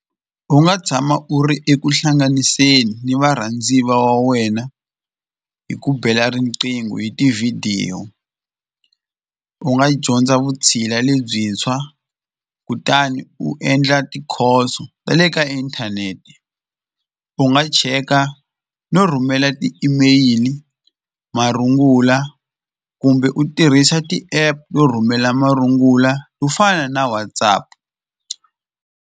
U nga tshama u ri eku hlanganiseni ni varhandziva wa wena hi ku bela riqingho hi tivhidiyo u nga dyondza vutshila lebyintshwa kutani u endla tikhoso ta le ka inthanete u nga cheka no rhumela ti-email marungula kumbe u tirhisa ti-app to rhumela marungula to fana na WhatsApp.